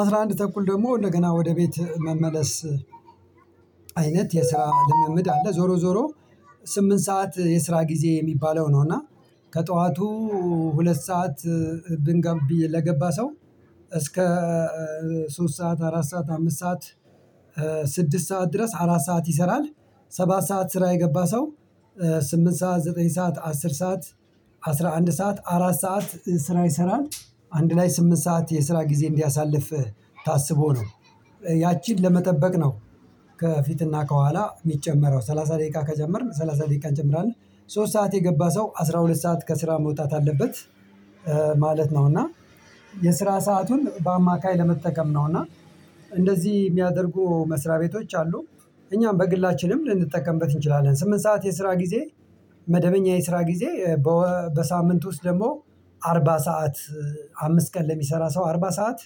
አስራ አንድ ተኩል ደግሞ እንደገና ወደ ቤት መመለስ አይነት የስራ ልምምድ አለ ዞሮ ዞሮ ስምንት ሰዓት የስራ ጊዜ የሚባለው ነው። እና ከጠዋቱ ሁለት ሰዓት ብንጋብ ብዬ ለገባ ሰው እስከ ሶስት ሰዓት አራት ሰዓት አምስት ሰዓት ስድስት ሰዓት ድረስ አራት ሰዓት ይሰራል ሰባት ሰዓት ስራ የገባ ሰው ስምንት ሰዓት ዘጠኝ ሰዓት አስር ሰዓት አስራ አንድ ሰዓት አራት ሰዓት ስራ ይሰራል። አንድ ላይ ስምንት ሰዓት የስራ ጊዜ እንዲያሳልፍህ ታስቦ ነው ያቺን ለመጠበቅ ነው ከፊትና ከኋላ የሚጨመረው ሰላሳ ደቂቃ ከጀመርን ሰላሳ ደቂቃ እንጨምራለን ሶስት ሰዓት የገባ ሰው አስራ አስራ ሁለት ከስራ መውጣት አለበት ማለት ነው። እና የስራ ሰአቱን በአማካይ ለመጠቀም ነው እና እንደዚህ የሚያደርጉ መስሪያ ቤቶች አሉ እኛም በግላችንም ልንጠቀምበት እንችላለን። ስምንት ሰዓት የስራ ጊዜ መደበኛ የስራ ጊዜ በሳምንት ውስጥ ደግሞ አርባ ሰዓት አምስት ቀን ለሚሰራ ሰው አርባ ሰዓት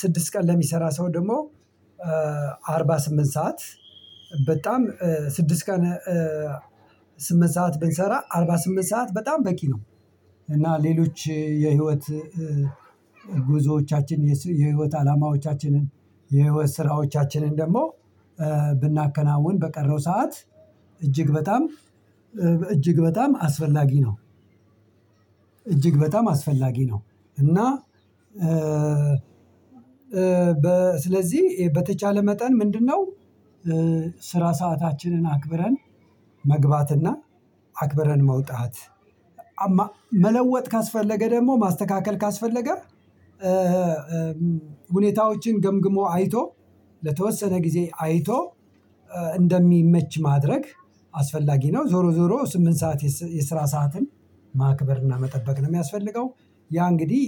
ስድስት ቀን ለሚሰራ ሰው ደግሞ አርባ ስምንት ሰዓት በጣም ስድስት ቀን ስምንት ሰዓት ብንሰራ አርባ ስድስት ሰዓት በጣም በቂ ነው። እና ሌሎች የህይወት ጉዞዎቻችን የህይወት አላማዎቻችንን የህይወት ስራዎቻችንን ደግሞ ብናከናውን በቀረው ሰዓት እጅግ በጣም እጅግ በጣም አስፈላጊ ነው እጅግ በጣም አስፈላጊ ነው። እና በ ስለዚህ በተቻለ መጠን ምንድነው የስራ ሰአታችንን አክብረን መግባትና አክብረን መውጣት። መለወጥ ካስፈለገ ደግሞ ማስተካከል ካስፈለገ ሁኔታዎችን ገምግሞ አይቶ ለተወሰነ ጊዜ አይቶ እንደሚመች ማድረግ አስፈላጊ ነው ዞሮ ዞሮ ስምንት ሰዓት የስራ ሰዓትን ማክበርና መጠበቅ ነው የሚያስፈልገው። ያ እንግዲህ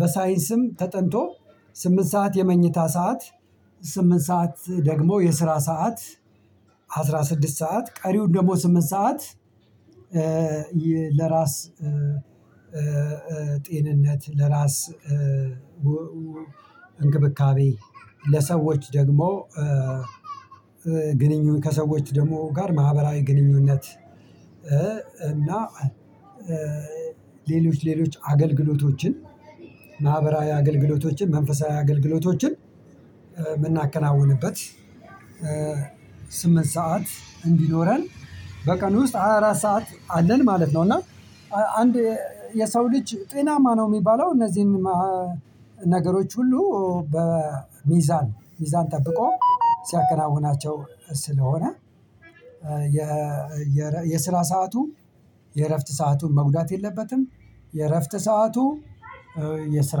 በሳይንስም ተጠንቶ ስምንት ሰዓት የመኝታ ሰዓት ስምንት ሰዓት ደግሞ የስራ ሰዓት አስራ ስድስት ሰዓት ቀሪውን ደግሞ ስምንት ሰዓት ለራስ ጤንነት ለራስ አንክብካቤ ለሰዎች ደግሞ ግንኙነት ከሰዎች ደግሞ ጋር ማህበራዊ ግንኙነት እና ሌሎች ሌሎች አገልግሎቶችን ማህበራዊ አገልግሎቶችን መንፈሳዊ አገልግሎቶችን የምናከናውንበት ስምንት ሰዓት እንዲኖረን በቀን ውስጥ ሃያ አራት ሰዓት አለን ማለት ነው። እና አንድ የሰው ልጅ ጤናማ ነው የሚባለው እነዚህን ነገሮች ሁሉ በሚዛን ሚዛን ጠብቆ ሲያከናውናቸው ስለሆነ የ የስራ ሰዓቱ የእረፍት ሰአቱን መጉዳት የለበትም። የእረፍት ሰዓቱ የስራ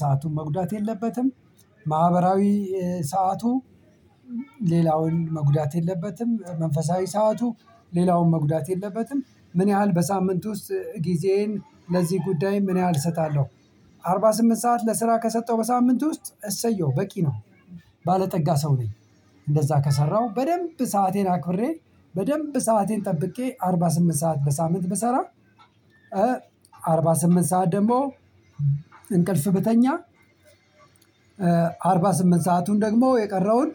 ሰአቱን መጉዳት የለበትም። ማህበራዊ ሰዓቱ ሌላውን መጉዳት የለበትም መንፈሳዊ ሰዓቱ ሌላውን መጉዳት የለበትም። ምን ያህል በሳምንት ውስጥ ጊዜዬን ለዚህ ጉዳይ ምን ያህል እሰጣለሁ? አርባ ስምንት ሰዓት ለስራ ከሰጠው በሳምንት ውስጥ እሰየው በቂ ነው። ባለጠጋ ሰው ነኝ እንደዛ ከሰራሁ በደንብ ሰአቴን አክብሬ በደንብ ሰአቴን ጠብቄ አርባ ስምንት ሰዓት በሳምንት ብሰራ አርባ ስምንት ሰዓት ደግሞ እንቅልፍ ብተኛ አርባ ስምንት ሰአቱን ደግሞ የቀረውን።